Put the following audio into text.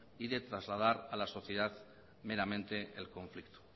y de trasladar a la sociedad meramente el conflicto